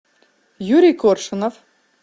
юрий коршунов